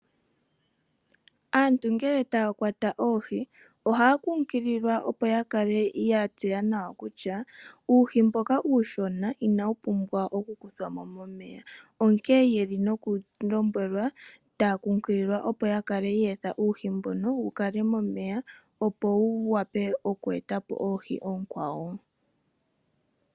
Aantu ngele taya kwata oohi ohaya kunkililwa opo ya kale ya tseya nawa kutya uuhi mboka uushona inawu pumbwa oku kuthwa mo momeya onkene otaya lombwelwa, taya kunkililwa opo ya kale ye etha uuhi mbono wu kale momeya opo wu wape oku eta po oohi oonkwawo.